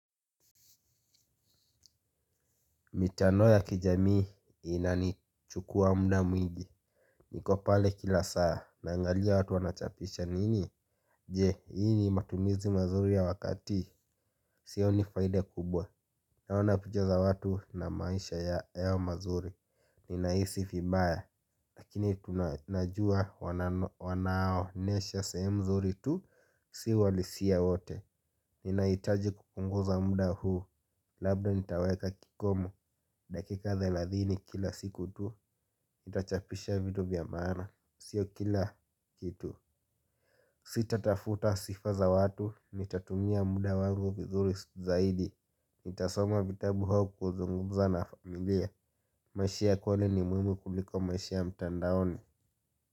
Mitandao ya kijamii inanichukua muda mwingi. Niko pale kila saa, nangalia watu wanachapisha nini? Je, hii ni matumizi mazuri ya wakati. Sioni faida kubwa. Naona picha za watu na maisha yao mazuri. Ninahisi vibaya, lakini najua wanaonyesha sehemu zuri tu si uhalisia wote. Ninahitaji kupunguza muda huu. Labda nitaweka kikomo dakika thelathini kila siku tu, nitachapisha vitu vya maana, sio kila kitu. Sitatafuta sifa za watu, nitatumia muda wangu vizuri zaidi, nitasoma vitabu au kuzungumza na familia. Maisha ya kweli ni muhimu kuliko maisha ya mtandaoni.